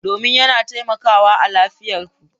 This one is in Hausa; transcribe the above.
Domin yana taimakawa a lafiyar ku.